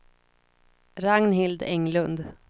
Ragnhild Englund